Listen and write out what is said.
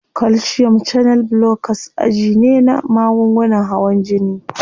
Calcium channel blockers aji ne na magungunan hawan jini.